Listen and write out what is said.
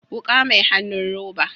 Wuka mai hannun roba